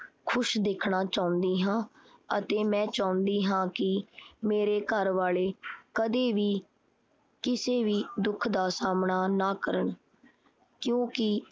ਖੁਸ਼ ਦੇਖਣਾ ਚਾਹੰਦੀ ਹਾਂ ਅਤੇ ਮੈਂ ਚਾਉਂਦੀ ਹਾਂ ਕੀ ਮੇਰੇ ਘਰ ਵਾਲੇ ਕਦੇ ਵੀ ਕਿਸੇ ਵੀ ਦੁੱਖ ਦਾ ਸਾਹਮਣਾ ਨਾ ਕਰਨ ਕਿਉਂਕਿ